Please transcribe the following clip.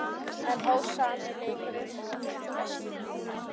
Enn hófst sami leikurinn og fyrir Vestfjörðum.